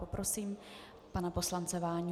Poprosím pana poslance Váňu.